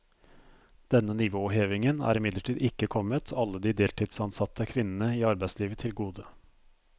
Denne nivåhevingen er imidlertid ikke kommet alle de deltidsansatte kvinnene i arbeidslivet til gode.